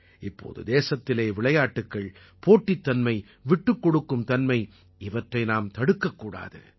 இப்போது தேசத்திலே விளையாட்டுக்கள் போட்டித் தன்மை விட்டுக்கொடுக்கும் தன்மை இவற்றை நாம் தடுக்கக்கூடாது